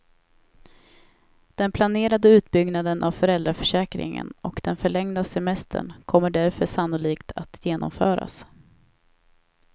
Den planerade utbyggnaden av föräldraförsäkringen och den förlängda semestern kommer därför sannolikt att genomföras.